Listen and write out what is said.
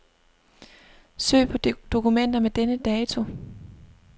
Søg på dokumenter med denne dato.